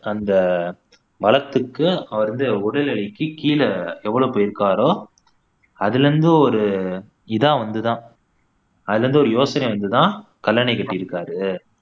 அந்த வளத்துக்கு வந்து உடல் நிலைக்கு கீழே எவ்வளவு போய் இருக்காரோ அதிலிருந்து ஒரு இதா வந்து தான் அதிலிருந்து ஒரு யோசனை வந்து தான் கல்லணை கட்டி இருக்காரு